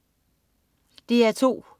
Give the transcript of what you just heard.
DR2: